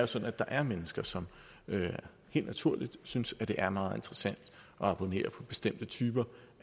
sådan at der er mennesker som helt naturligt synes at det er meget interessant at abonnere på bestemte typer